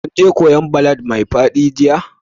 Kun je kwoyan ballad mai fadi jiya?